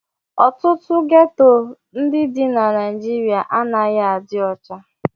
Ọtụtụ geto ndị dị na Naịjirịa anaghị adị ọcha.